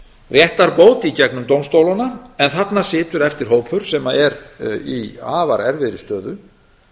réttarbót í gegnum dómstólana en þarna situr eftir hópur sem er í afar erfiðri stöðu